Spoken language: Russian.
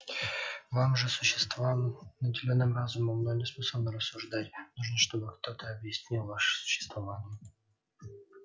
вам же существам наделённым разумом но не способным рассуждать нужно чтобы кто то объяснил ваше существование